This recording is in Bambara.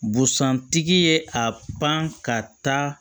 Busan tigi ye a pan ka taa